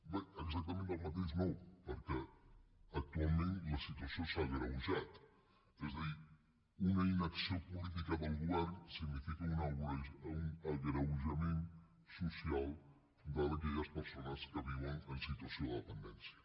bé exactament del mateix no perquè actualment la situació s’ha agreujat és a dir una inacció política del govern significa un agreujament social d’aquelles persones que viuen en situació de dependència